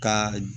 Ka